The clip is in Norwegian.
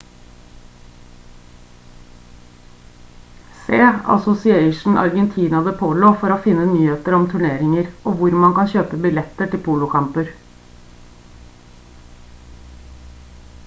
se asosiacion argentina de polo for å finne nyheter om turneringer og hvor man kan kjøpe billetter til polokamper